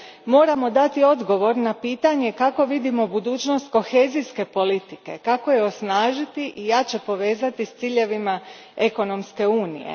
Moramo dati odgovor na pitanje kako vidimo budućnost kohezijske politike, kako je osnažiti i jače povezati s ciljevima ekonomske unije.